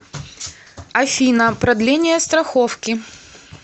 афина продление страховки